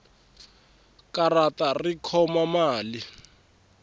karata ri khoma mali